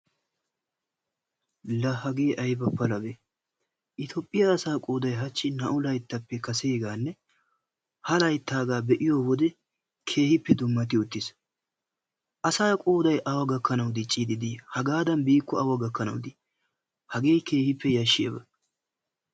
La hagee ayba palabee! Itoophphiyaa asaa qooday naa"u layttappe kaseegan ha layttaagaa be'iyoo wode keehippe dummati uttiis. Asaa qooday awa gakkanawu diiccidi dii? hagaadan biiko awa gakkanawu dii? hagee keehippe yaashiyaaba.